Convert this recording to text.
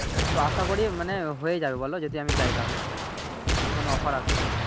তো আশা করি মানে হয়ে যাবে বলো যদি আমি যাই তাহলে যদি কোন অফার আসে